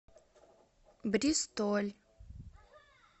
бристоль